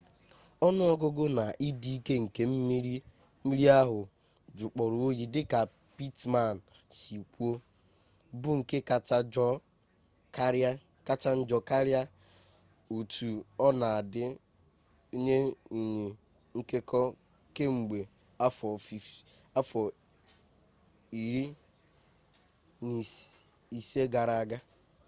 onu-ogugu na idi-ike nke mmiri ahu jukporo oyi dika pittman si kwuo bu nke kacha njo karia otu ona-adi nye nyi nkeko kemgbe afo 15 gara-aga